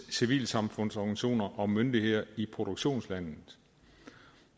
civilsamfundsorganisationer og myndigheder i produktionslandet